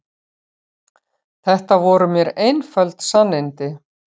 Þetta voru mér einföld sannindi.